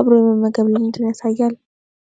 አብሮ የመመገብ ልማድን ያሳያል?